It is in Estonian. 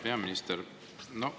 Hea peaminister!